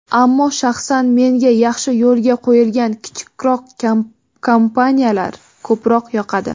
ammo shaxsan menga yaxshi yo‘lga qo‘yilgan kichikroq kompaniyalar ko‘proq yoqadi.